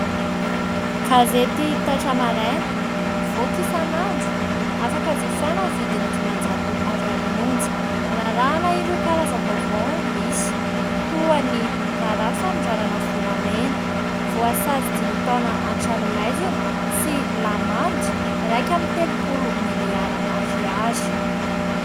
Gazety : "TAITRA MARAINA " mivoaka isan'andro, afaka jifaina amin'ny vidiny dimanjato ariary monja, hanarahana ireo karazam-baovao misy toan' ny : RAHARAHA FANONDRANANA VOLAMENA .Voasazy dimy taona an-tranomaizina sy lamandy iraika amby telompolo miliara ariary.